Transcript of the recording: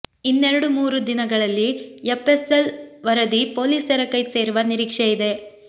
ಇನ್ನೆರಡು ಮೂರು ದಿನಗಳಲ್ಲಿ ಎಫ್ ಎಸ್ ಎಲ್ ವರದಿ ಪೊಲೀಸರ ಕೈ ಸೇರುವ ನಿರೀಕ್ಷೆ ಇದೆ